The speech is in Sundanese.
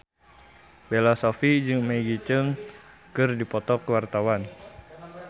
Bella Shofie jeung Maggie Cheung keur dipoto ku wartawan